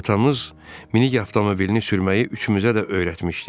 Atamız minik avtomobilini sürməyi üçümüzə də öyrətmişdi.